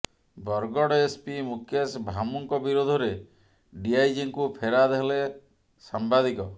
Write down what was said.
Bargarh S P Mukesh ଭାମୁଙ୍କ ବିରୋଧରେ ଡିଆଇଜିଙ୍କୁ ଫେରାଦ ହେଲେ ସାମ୍ବାଦିକ